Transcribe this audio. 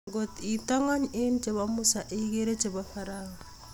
Ngotkitakany eng chebo Musa igere chebo pharao